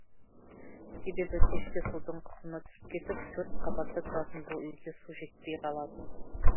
себебі кешке судың қысымы түсіп кетіп төрт қабатта тұратын бұл үйге су жетпей қалады